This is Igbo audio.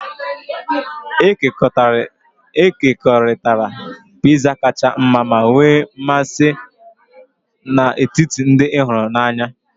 Ekekọrịtara Pizza kacha mma ma nwee mmasị n'etiti ndị ị hụrụ n'anya.